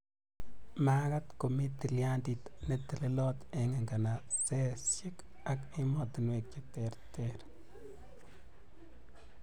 makaat komi tilyandit ne telelot eng nganasesek ak emotinwek che ter ak che ter